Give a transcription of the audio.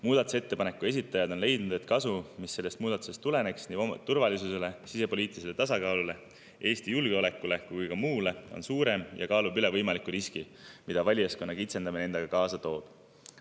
Muudatusettepaneku esitajad on leidnud, et kasu, mis sellest muudatusest tuleneks nii turvalisusele, sisepoliitilisele tasakaalule, Eesti julgeolekule kui ka muule, on suurem ja kaalub üles võimaliku riski, mida valijaskonna kitsendamine endaga kaasa toob.